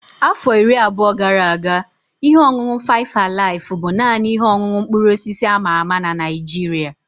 Afọ iri abụọ gara aga, ihe ọṅụṅụ faịf alaif bụ naanị ihe ọṅụṅụ mkpụrụ osisi a ma ama na Naịjirịa.